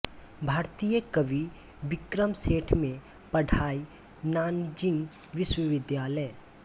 भारतीय कवि विक्रम सेठ में पढ़ाई नानजींग विश्वविद्यालय